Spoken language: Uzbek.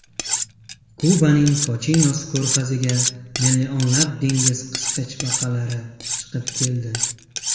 Kubaning Kochinos ko‘rfaziga millionlab dengiz qisqichbaqalari chiqib keldi.